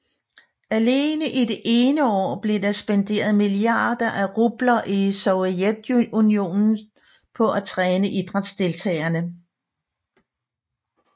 Alene i det ene år blev der spenderet milliarder af rubler i Sovjetunionen på at træne idrætsdeltagerne